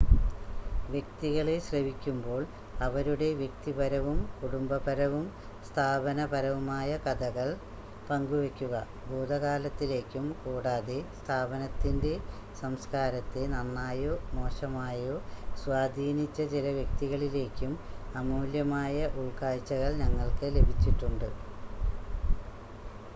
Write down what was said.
വ്യക്തികളെ ശ്രവിക്കുമ്പോൾ അവരുടെ വ്യക്തിപരവും കുടുംബപരവും സ്ഥാപനപരവുമായ കഥകൾ പങ്കുവയ്ക്കുക ഭൂതകാലത്തിലേക്കും കൂടാതെ സ്ഥാപനത്തിൻ്റെ സംസ്ക്കാരത്തെ നന്നായോ മോശമായോ സ്വാധീനിച്ച ചില വ്യക്തികളിലേക്കും അമൂല്യമായ ഉൾക്കാഴ്ചകൾ ഞങ്ങൾക്ക് ലഭിച്ചിട്ടുണ്ട്